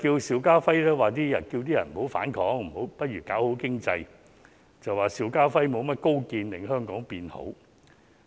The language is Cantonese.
邵家輝議員要求市民不要反抗，不如搞好經濟，朱議員便說邵議員沒甚麼高見令香港變好。